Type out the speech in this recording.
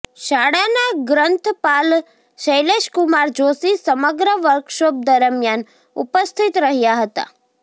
શાળાનાં ગ્રન્થપાલ શૈલેશકુમાર જોશી સમગ્ર વર્કશોપ દરમ્યાન ઉપસ્થિત રહ્યાં હતા